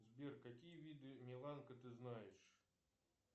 сбер какие виды миланка ты знаешь